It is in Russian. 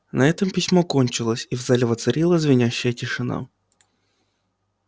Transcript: на этом письмо кончилось и в зале воцарилась звенящая тишина